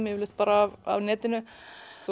yfirleitt af netinu